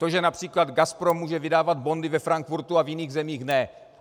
To, že například GASPRO může vydávat bondy ve Frankfurtu a v jiných zemích ne.